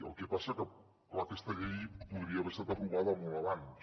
el que passa que clar aquesta llei podria haver estat aprovada molt abans